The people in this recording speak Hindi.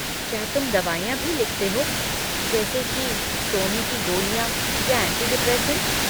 क्या तुम दवाइयाँ भी लिखते हो, जैसे कि सोने की गोलियाँ या ऐंटी डिप्रेसेंट?